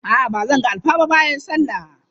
A'a ba zan ga alfa ba bayan sallah.